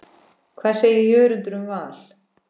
Hvað segir Jörundur um Val?